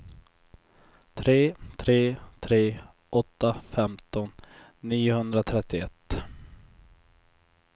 tre tre tre åtta femton niohundratrettioett